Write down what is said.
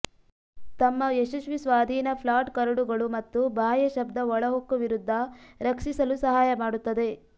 ತಮ್ಮ ಯಶಸ್ವಿ ಸ್ವಾಧೀನ ಫ್ಲಾಟ್ ಕರಡುಗಳು ಮತ್ತು ಬಾಹ್ಯ ಶಬ್ದ ಒಳಹೊಕ್ಕು ವಿರುದ್ಧ ರಕ್ಷಿಸಲು ಸಹಾಯ ಮಾಡುತ್ತದೆ